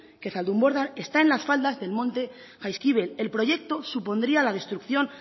que zaldunborda está en las faldas del monte jaizkibel el proyecto supondría la destrucción